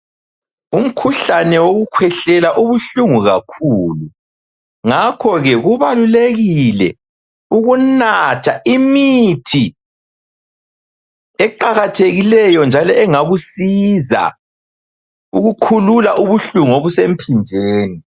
Umkhuhlane wokukhwehlela ubuhlungu kakhulu. Ngakho-ke kubalulekile ukunatha imithi eqakathekileyo njalo engakusiza ukukhulula ubuhlungu obusemphinjeni.